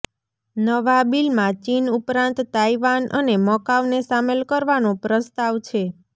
નવા બિલમાં ચીન ઉપરાંત તાઇવાન અને મકાઉને સામેલ કરવાનો પ્રસ્તાવ છે